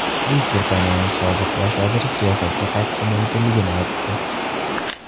Buyuk Britaniyaning sobiq bosh vaziri siyosatga qaytishi mumkinligini aytdi.